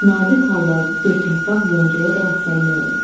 Nadir hallarda dörd yarpaq yoncaya da rast gəlmək olur.